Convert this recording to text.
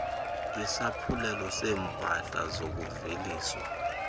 isaphulelo seeempahla zokuveliswa